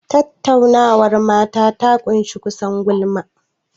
Tattaunawar mata ta ƙunshi kusan gulma.